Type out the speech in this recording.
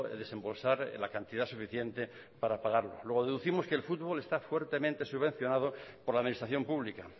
desembolsar la cantidad suficiente para pagarlo luego deducimos que el fútbol está fuertemente subvencionado por la administración pública